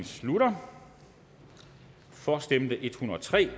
slutter for stemte en hundrede og tre